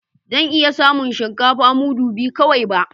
Zan iya samun shinkafa mudu biyu kawai ba